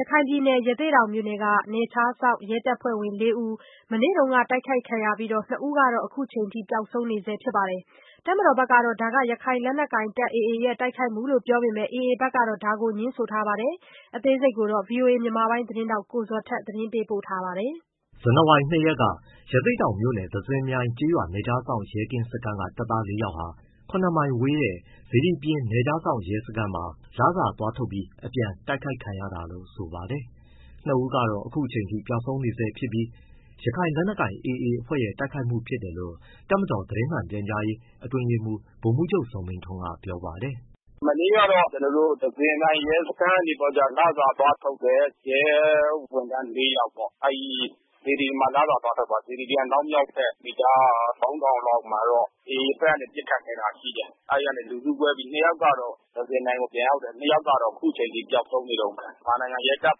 ရခိုင်ပြည်နယ်၊ ရသေ့တောင်မြို့က နယ်ခြားစောင့် ရဲတပ်ဖွဲ့ဝင် ၄ဦး မနေ့က တိုက်ခိုက်ခံရပြီး ၂ဦးက အခုအချိန်အထိ ပျောက်ဆုံးနေဆဲဖြစ်ပါတယ်။ တပ်မတော်ဘက်ကတော့ ရခိုင်လက်နက်ကိုင် AA အဖွဲ့ ရဲ့ တိုက်ခိုက်မှုလို့ ပြောပေမဲ့၊ AA ဘက်ကတော့ ဒါကို ငြင်းဆိုထားပါတယ်။ ဗွီအိုအေ မြန်မာပိုင်း သတင်းထောက် ကိုဇော်ထက်က ပေးပို့ထားပါတယ်။ ဇန်နဝါ ၂ရက်က ရသေ့တောင်မြို့နယ် သဇင်မြိုင်နယ်ခြားစောင့် ရဲကင်းစခန်းက တပ်သား ၄ယောက်ဟာ ၇မိုင်ဝေးတဲ့ စေတီပြင်နယ်ခြားစောင့် ရဲစခန်းမှာ လစာသွားထုတ်ပြီး အပြန်မှာ တိုက်ခိုက် ခံရတာလို့ဆိုပါတယ်။ ၂ဦးကတော့ အခုအချိန်အထိ ပျောက်ဆုံးနေဆဲဖြစ်ပြီး ရခိုင်လက်နက်ကိုင် AA အဖွဲ့ရဲ့ တိုက်ခိုက်မှုဖြစ်တယ်လို့ တပ်မတော် သတင်းမှန်ပြန်ကြားရေး အတွင်းရေးမှူး ဗိုလ်မှူးချုပ်ဇော်မင်းထွန်းက ပြောပါတယ်။ “ မနေ့ကကျွန်တော်တို့သဇင်မြိုင်ရဲစခန်းကနေပြီးတော့လစာသွားထုတ်တဲ့ ရဲဝန်ထမ်း ယောက်ပေါ့။ အဲဒီစေတီပြင်မှာ လစာသွားထုတ်တယ်။ စေတီပြင်အနောက်မြောက်ဖက် မီတာ လောက်မှာတော့ AAအဖွဲ့ကနေပစ်ခတ်ခဲ့တာ ရှိတယ်။ အဲဒီကနေလူစုကွဲပြီးတော့ နှစ်ယောက်ကတော့ သဇင်မြိုင်ကို ပြန်ရောက်တယ်။ နှစ်ယောက်ကတော့ ခုချိန်ထိ ပျောက်ဆုံးနေတုန်းဘဲ။ မြန်မာနိုင်ငံရဲတပ်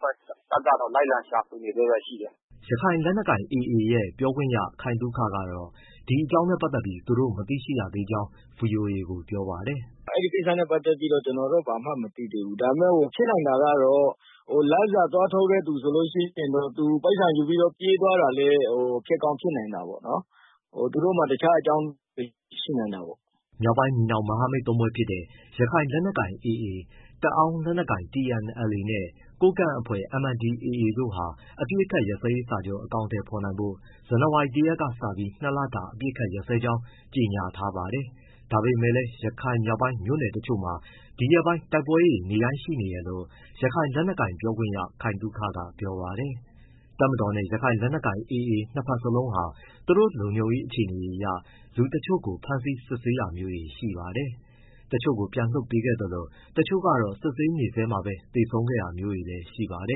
ဖွဲ့ တပ်ကတော့လိုက်ရှာနေဆဲဘဲရှိတယ်။” ရခိုင်လက်နက်ကိုင် AA ရဲ့ ပြောခွင့်ရ ခိုင်သုခကတော့ ဒီအကြောင်းနဲ့ပတ်သက်ပြီး သူတို့မသိရသေးကြောင်း ဗွီအိုအေကို ပြောပါတယ်။ “ အဲဒီကိစ္စနဲ့ ပတ်သက်ပြီး ကျနော်တို့ ဘာမှမသိသေးဘူး။ ဖြစ်နိုင်တာကတော့ လစာသွားထုတ်တဲ့သူဆိုရင် သူပိုက်ဆံယူပြီးတော့ ပြေးသွားတာလည်း ဖြစ်ကောင်း ဖြစ်နိုင်တယ်ပေါ့။ သူတို့မှာ တခြားအကြောင်းတွေ ရှိနိုင်တာပေါ့။” မြောက်ပိုင်းညီနောင်မဟာမိတ်သုံးဖွဲ့ဖြစ်တဲ့ ရခိုင်လက်နက်ကိုင် AA၊ တအောင်းလက်နက်ကိုင် TNLA နဲ့ ကိုးကန့်အဖွဲ့ MNDAA တို့ဟာ အပစ်အခတ် ရပ်စဲရေးစာချုပ် အကောင်အထည်ဖော်နိုင်ဖို့ ဇန်နဝါရီ ၁ရက်ကစပြီး ၂လတာ တဖက်သတ် အပစ်ရပ်ကြောင်း ကြေညာထားပါတယ်။ ဒါပေမဲ့လည်း ရခိုင်မြောက်ပိုင်း မြို့နယ်တချို့မှာ ဒီရက်ပိုင်း တိုက်ပွဲတွေနေ့တိုင်းရှိနေတယ်လို့ ရခိုင်လက်နက်ကိုင် ပြောခွင့်ရ ခိုင်သုခက ပြောပါတယ်။ တပ်မတော်နဲ့ ရခိုင်လက်နက်ကိုင် AA နှစ်ဘက်စလုံးဟာ သူတို့လုံခြုံရေးအခြေအနေအရ လူတချို့ကို ဖမ်းဆီး စစ်ဆေးတာမျိုးတွေရှိခဲ့ပါတယ်။ တချို့ကို ပြန်လွှတ်ပေးခဲ့သလို တချို့ကတော့ စစ်ဆေးနေဆဲမှာပဲ သေဆုံးခဲ့တာမျိုးလည်းရှိပါတ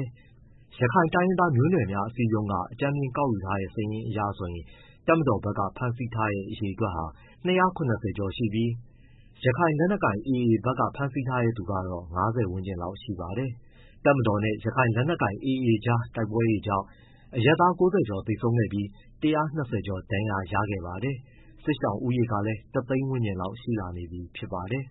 ယ်။ ရခိုင်တိုင်းရင်းသားမျိုးနွယ်များအစည်းအရုံးက အကြမ်းဖျဉ်း ကောက်ယူထားတဲ့ စာရင်းအရဆိုရင် တပ်မတော်ဘက်က ဖမ်းဆီးထားတဲ့ အရေအတွက်ဟာ ၂၇၀ ကျော်ရှိပြီး၊ ရခိုင်လက်နက်ကိုင် AA ဘက်က ဖမ်းဆီးထားတဲ့သူက ၅၀ ဝန်းကျင်ရှိပါတယ်။ တပ်မတော်နဲ့ ရခိုင်လက်လက်နက်ကိုင် AA ကြားတိုက်ပွဲတွေကြောင့် အရပ်သား ၉၀ကျော် သေဆုံးခဲ့ပြီး ၁၂၀ကျော် ထိခိုက်ဒဏ်ရာရခဲ့ပါတယ်။ စစ်ရှောင်ဦးရေကလည်း ၁သိန်းဝန်းကျင်ထိရှိလာနေပြီဖြစ်ပါတယ်